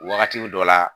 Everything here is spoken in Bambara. Wagati dɔ la